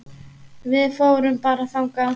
Við förum bara þangað!